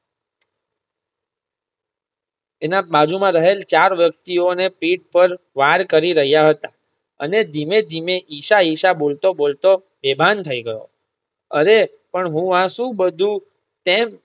એના બાજુમાં રહેલ ચાર વ્યક્તિઓ એને પીઠ પર વાર કરી રહ્યા હતા અને ધીમે-ધીમે ઈશા-ઈશા બોલતો-બોલતો બેભાન થઇ ગયો. હવે પણ હું આ શું બધું કેમ